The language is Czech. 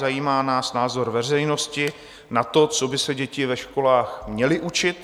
Zajímá nás názor veřejnosti na to, co by se děti ve školách měly učit.